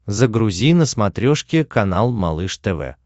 загрузи на смотрешке канал малыш тв